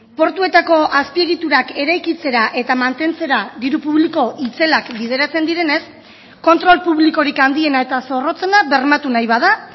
portuetako azpiegiturak eraikitzera eta mantentzera diru publiko itzelak bideratzen direnez kontrol publikorik handiena eta zorrotzena bermatu nahi bada